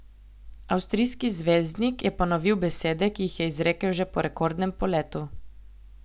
Avstrijski zvezdnik je ponovil besede, ki jih je izrekel že po rekordnem poletu.